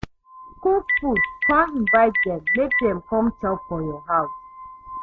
Cook food con Invite dem mek dem com chop for yur house